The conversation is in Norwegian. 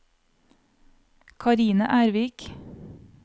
Karine Ervik